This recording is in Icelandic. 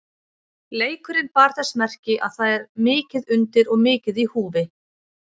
Leikurinn bar þess merki að það er mikið undir og mikið í húfi.